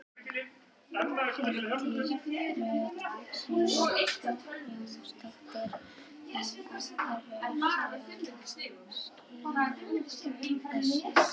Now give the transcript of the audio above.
Hjördís Rut Sigurjónsdóttir: Og af hverju ertu að skila þessu?